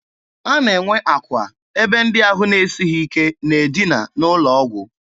A na-enwe akwa ebe ndị ahụ na-esighị ike na-edina n'ụlọ ọgwụ.